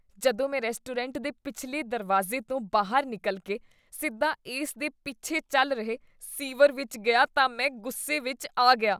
ਜਦੋਂ ਮੈਂ ਰੈਸਟੋਰੈਂਟ ਦੇ ਪਿਛਲੇ ਦਰਵਾਜ਼ੇ ਤੋਂ ਬਾਹਰ ਨਿਕਲ ਕੇ ਸਿੱਧਾ ਇਸ ਦੇ ਪਿੱਛੇ ਚੱਲ ਰਹੇ ਸੀਵਰ ਵਿੱਚ ਗਿਆ ਤਾਂ ਮੈਂ ਗੁੱਸੇ ਵਿੱਚ ਆ ਗਿਆ।